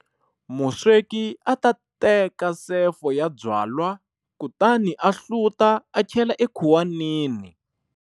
Musweki ata teka sefo ya byalwa, kutani a hluta a chela ekhuwanini.